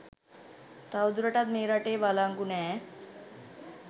තවදුරටත් මේ රටේ වලංගු නෑ.